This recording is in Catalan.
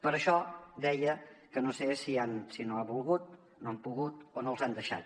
per això deia que no sé si no han volgut no han pogut o no els han deixat